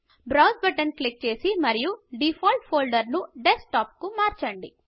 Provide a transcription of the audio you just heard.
browse button click చేయండి మరియు default ఫోల్డర్ను డెస్క్టాప్కు మార్చండి